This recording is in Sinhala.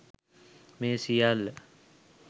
මේ සියල්ල